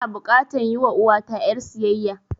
Ina bukatan yi wa uwata ƴar siyayya